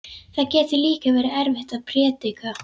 Það getur líka verið erfitt að prédika.